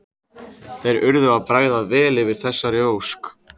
Þeir urðu að bregðast vel við þessari ósk.